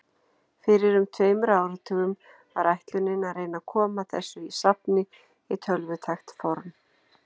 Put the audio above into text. Fyrir um tveimur áratugum var ætlunin að reyna að koma þessu safni í tölvutækt form.